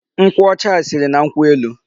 Nkwụ ọcha a siri na nkwụ elu.